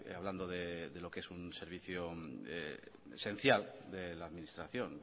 hablando de lo que es un servicio esencial de la administración